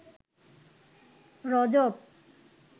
রজব